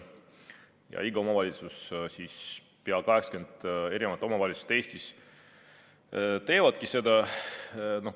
Ja iga omavalitsus, pea 80 omavalitsust Eestis teevadki seda.